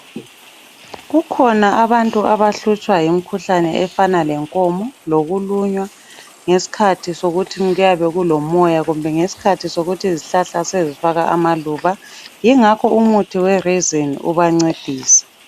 Kukhona abantu abahlutshwa yimikhuhlane efana lenkomo lokulunywa ngesikhathi sokuthi kuyabe kulomoya kumbe ngesikhathi sokuthi izihlahla sezifaka amaluba yingakho umuthi weRazene ubancedisa.